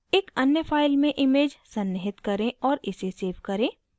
एक अन्य file में image सन्निहित करें और इसे सेव करें